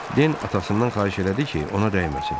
Den atasından xahiş elədi ki, ona dəyməsin.